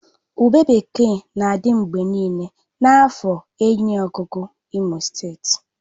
Ube bekee na-adị mgbe niile na afor enyiogugu imo steeti